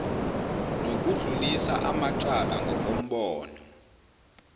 nokudlulisa amacala ngokombono